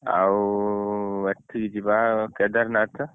ଆଉ ଏଠିକି ଯିବା କେଦାରନାଥ